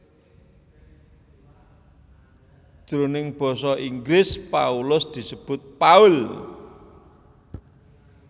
Jroning basa Inggris Paulus disebut Paul